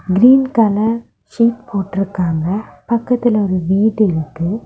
Green colour seat போட்டு இருக்காங்க பக்கத்துல ஒரு வீடு இருக்குது.